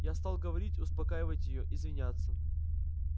я стал говорить успокаивать её извиняться